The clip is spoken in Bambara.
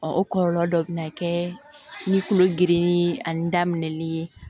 Ɔ o kɔlɔlɔ dɔ bɛ na kɛ ni kulo geren ani da minɛli ye